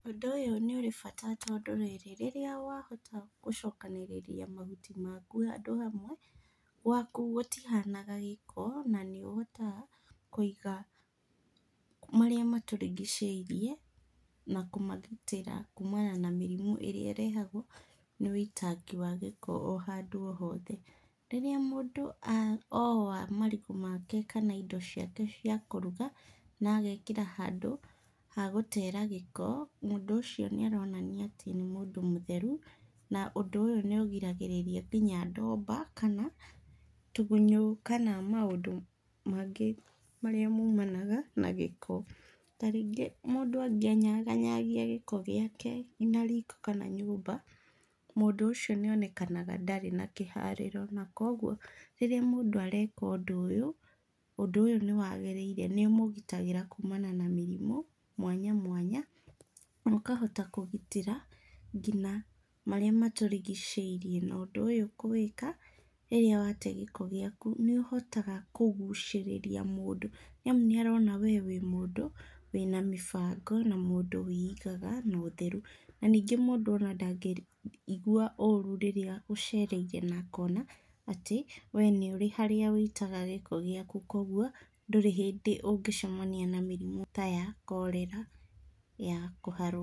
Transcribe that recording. Ũndũ ũyũ nĩ ũrĩ bata tondũ rĩrĩ, rĩrĩa wahota gũcokanĩrĩria mahuti maku handũ hamwe, gwaku gũtihanaga gĩko na nĩũhotaga kũiga marĩa matũrigicirie na kũmagitĩra kumana na mĩrimũ ĩrĩa ĩrehagwo nĩ ũitangi wa gĩko o handũ hothe. Rĩrĩa mũndũ oa marigũ make kana indo ciake cia kũruga na agekĩra handũ ha gũtera gĩko, mũndũ ũcio nĩ aronania atĩ nĩ mũndũ mũtheru na ũndũ ũyũ nĩ ũrigagĩrĩria ngina ndomba, tũgunyũ kana maũndũ mangĩ marĩa maumanaga na gĩko. Ta rĩngĩ mũndũ angĩnyaganyagia gĩko gĩake nginya riko kana nyũmba, mũndũ ũcio nĩonekanaga ndarĩ na kĩharĩro na kũoguo rĩrĩa mũndũ areka ũndũ ũyũ, ũndũ ũyũ nĩ wagĩrĩire, nĩũmũgitagĩra kumana na mĩrimũ mwanya mwanya na ũkahota kũgitĩra ngina marĩa matũrigicĩirie na ũndũ ũyũ kũwĩka rĩrĩa wate gĩko gĩaku nĩũhotaga kũgucĩrĩria mũndũ nĩamu nĩarona wee wĩ mũndũ wĩna mĩbango na mũndũ wĩigaga na ũtheru na ningĩ mũndũ ona ndangĩigua ũru rĩrĩa ũcereirwo na akona wee nĩũrĩ harĩa ũitaga gĩko gĩaku na kũoguo ndũrĩ hĩndĩ ũngĩcemania na mĩrimũ ta ya korera ya kũharwo.